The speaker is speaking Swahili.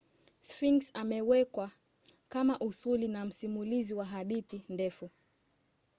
sphinx amewekwa kama usuli na msimulizi wa hadithi ndefu